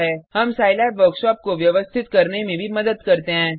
हम सिलाब वर्कशॉप को व्यवस्थित करने में भी मदद करते हैं